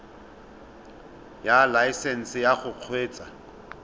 ya laesesnse ya go kgweetsa